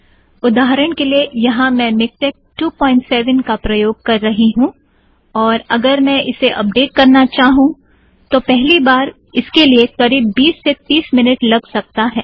उदाहरण के लिए यहाँ मैं मिक्टेक 27 का प्रयोग कर रही हूँ और अगर मैं इसे अपडेट करना चाहूँ तब पहली बार इसके लिए करीब बीस से तीस मिनट लग सकता है